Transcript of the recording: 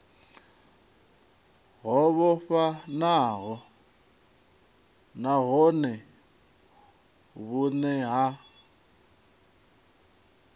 ho vhofhanaho nahone vhune ha